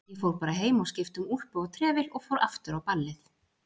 Ég fór bara heim og skipti um úlpu og trefil og fór aftur á ballið.